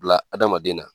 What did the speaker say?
Bila hadamaden na